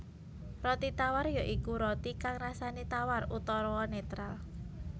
Roti tawar ya iku roti kang rasané tawar utawa netral